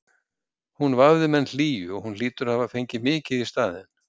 Hún vafði menn hlýju og hún hlýtur að hafa fengið mikið í staðinn.